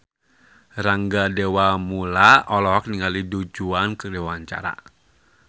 Rangga Dewamoela olohok ningali Du Juan keur diwawancara